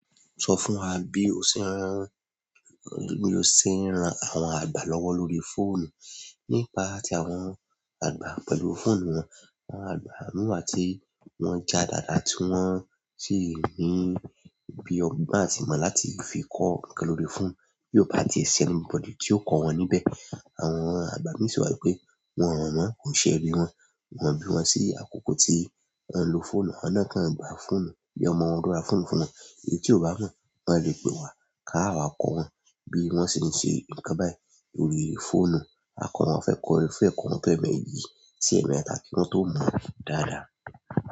Sọ fún wa bí o ṣe ń rán, bí o ṣe ń ran àwọn àgbà lọ́wọ́ lórí fóònù. Nípa tí àwọn àgbà pẹ̀lú fóònù wọn, àwọn àgbà mín wa tí wọ́n já dàda tí wọ́n sì ní bi ọgbọ́n àti ìmọ̀ láti fi kọ nǹkan lórí fóònù bí ó bá tie ṣi anybody tí ó kọ́ wọn níbẹ̀. Àwọn àgbà ń sọ wípé wọn mọ̀ ọ́n kò ń ṣe ẹbí wọn, wọ́n bí wọn sí àkókò tí wọ́n ń lo fóònù, àwọn náà kan gbà fóònù bí ọmọ wọn ló ra fóònù fún wọn. Èyí tí ò bá mọ̀, wọ́n lè pe wa káá wá kọ́ wọn bí wọ́n ṣe ń ṣe nǹkan báyìí lórí fóònù. Àkọ́, wọn fẹ́ kọ orin fún ẹ, kọ́ wọn tó ẹ̀ẹ̀méjì sí ẹ̀ẹ̀mẹta kí wọ́n tó mọ̀-ọ́n dáadáa.